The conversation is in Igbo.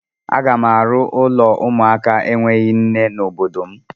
Aga m arụ ụlọ ụmụaka enweghị nne n'obodo m.